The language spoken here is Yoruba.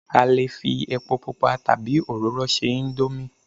a lè fi epo pupa tabi oróro se indomie